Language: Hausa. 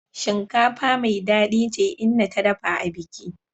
Shinkafa mai dadi ce inna ta dafa abiki.